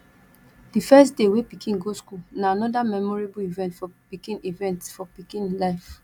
di first day wey pikin go school na anoda memorable event for pikin event for pikin life